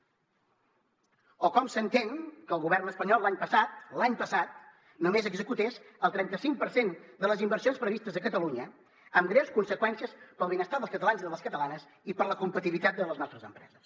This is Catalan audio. o com s’entén que el govern espanyol l’any passat l’any passat només executés el trenta cinc per cent de les inversions previstes a catalunya amb greus conseqüències per al benestar dels catalans i de les catalanes i per a la competitivitat de les nostres empreses